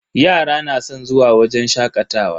Yara na san zuwa wajen shakatawa.